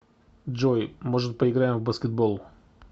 джой может поиграем в баскетбол